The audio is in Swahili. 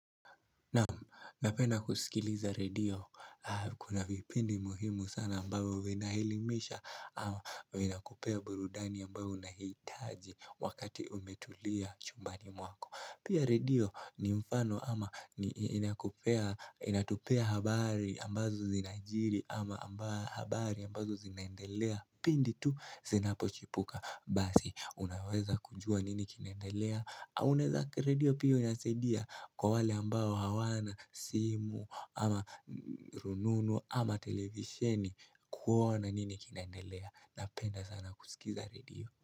Napenda kusikiliza radio, kuna vipindi muhimu sana ambayo vinaelimisha ama vina kupea burudani ambayo unaitaji wakati umetulia chumbani mwako Pia radio ni mfano ama inatupea habari ambazo zinajiri ama habari ambazo zinendelea Pindi tu zinapochipuka basi unaweza kujua nini kinaendelea au unaeza radio pia inasaidia kwa wale ambao hawana simu ama rununu ama televisheni kuona nini kinandelea Napenda sana kusikiza radio.